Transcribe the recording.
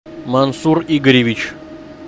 мансур игоревич